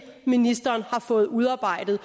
ministeren har fået udarbejdet